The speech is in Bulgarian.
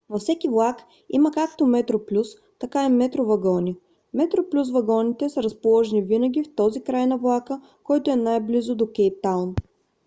във всеки влак има както metroplus така и metro вагони; metroplus вагоните са разположени винаги в този край на влака който е най-близо до кейптаун